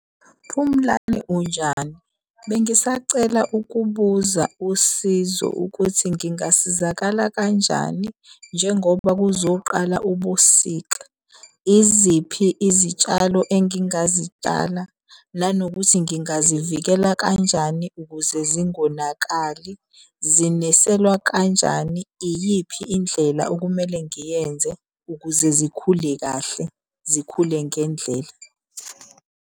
Phumlani, unjani? Bengisacela ukubuza usizo ukuthi ngingasizakala kanjani njengoba kuzoqala ubusika? Iziphi izitshalo engingazitshala? Nanokuthi ngingazivikela kanjani ukuze zingonakali? Ziniselwa kanjani, iyiphi indlela okumele ngiyenze ukuze zikhule kahle, zikhule ngendlela?